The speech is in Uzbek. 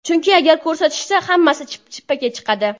Chunki agar ko‘rsatishsa, hammasi chippakka chiqadi.